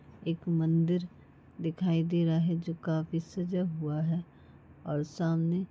एक मंदिर दिखाई दे रहा है जो काफी सजा हुआ है। और सामने--